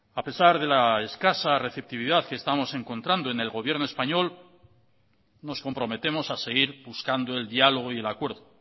a pesar de la escasa receptividad que estamos encontrando en el gobierno español nos comprometemos a seguir buscando el diálogo y el acuerdo